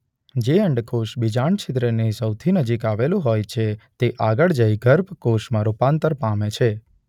જે અંડકોષ બીજાંડ છીદ્રની સૌથી નજીક આવેલું હોય છે તે આગળ જઈ ગર્ભ કોષમાં રૂપાંતર પામે છે.